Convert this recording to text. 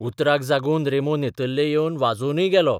उतराक जागून रॅमो नेतर्ले येवन वाजोवनय गेलो.